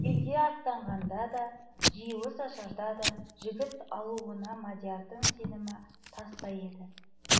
елге аттанғанда да жиылыс ашыларда да жігіт алуына мадиярдың сенімі тастай еді